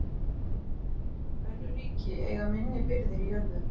Önnur ríki eiga minni birgðir í jörðu.